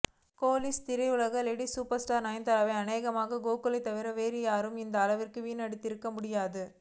கோலிவுட் திரையுலகின் lady super star நயன்தாராவை அனேகமாக கோகுலை தவிர வேறு யாரும் இந்த அளவுக்கு வீணடித்திருக்க முடியாது